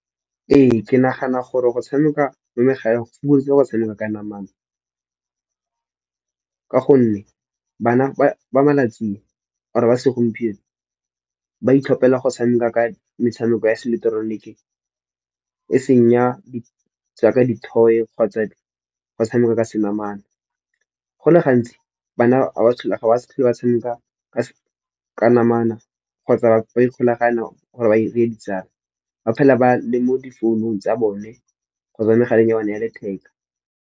Ee, ke nagana gore go tshameka mo megaleng go fokoditse go tshameka ka namana. Ka gonne bana ba malatsing or-e ba segompieno, ba itlhopela go tshameka ka metshameko ya se ileketeroniki e seng ya jaaka di toy kgotsa go tshameka ka se namane. Go le gantsi bana ga ba sa tlhole ba tshameka ka namana kgotsa ba ikgolaganya gore ba dire ditsala. Ba phela ba le mo di founung tsa bone kgotsa mo megaleng ya bone ya letheka.